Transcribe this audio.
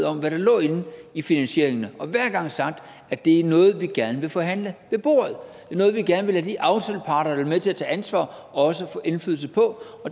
om hvad der lå inde i finansieringerne og hver gang sagt at det er noget vi gerne vil forhandle ved bordet det er noget vi gerne vil lade de aftaleparter være med til at tage ansvar også få indflydelse på